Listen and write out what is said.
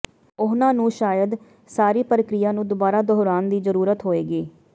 ਉਨ੍ਹਾਂ ਨੂੰ ਸ਼ਾਇਦ ਸਾਰੀ ਪ੍ਰਕਿਰਿਆ ਨੂੰ ਦੁਬਾਰਾ ਦੁਹਰਾਉਣ ਦੀ ਜ਼ਰੂਰਤ ਹੋਏਗੀ